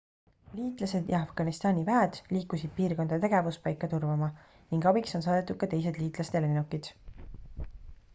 liitlased ja afganistani väed liikusid piirkonda tegevuspaika turvama ning abiks on saadetud ka teised liitlaste lennukid